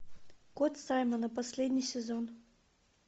кот саймона последний сезон